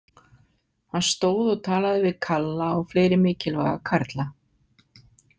Hann stóð og talaði við Kalla og fleiri mikilvæga karla.